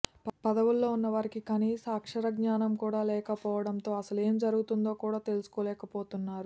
పదవుల్లో ఉన్న వారికి కనీస అక్షర జ్ఞానం కూడా ఉండకపోవడంతో అసలు ఏంజరుగుతుందో కూడా తెలుసుకోలేక పోతున్నారు